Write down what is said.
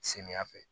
Samiyɛ fɛ